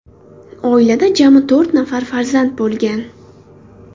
Oilada jami to‘rt nafar farzand bo‘lgan.